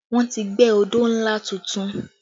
Wọ́n ti gbẹ́ odó ńlá tuntun